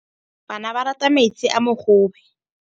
Bana ba rata metsi a mogobe.